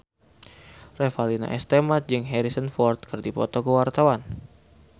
Revalina S. Temat jeung Harrison Ford keur dipoto ku wartawan